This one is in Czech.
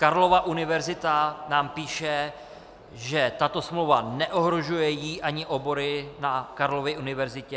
Karlova Univerzita nám píše, že tato smlouva neohrožuje ji ani obory na Karlově univerzitě.